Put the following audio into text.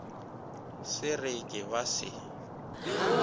se re ke ba se